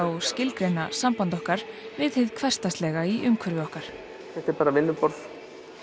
og skilgreina samband okkar við hið hversdagslega í umhverfi okkar þetta er bara vinnuborð